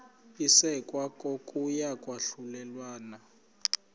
isekwa kokuya kwahlulelana